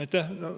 Aitäh!